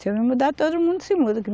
Se eu me mudar, todo mundo se muda.